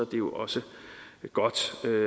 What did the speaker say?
det jo også godt